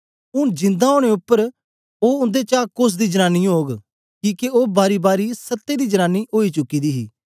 ऊन जिंदा ओनें उपर ओ उन्देचा कोस दी जनांनी ओग किके ओ बारीबारी सत्तें दी जनांनी ओई चुकी दी ही